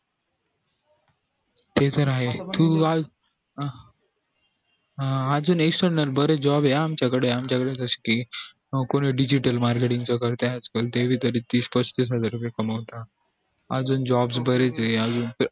ते तर आहे अं अजून job ये आमच्या कडे ये हा आमच्या कड च scheme कोणी digital marketing च करत त्यात तीस पस्तीस हजार कमवतात अजून jobs बरे च ये